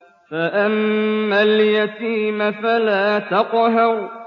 فَأَمَّا الْيَتِيمَ فَلَا تَقْهَرْ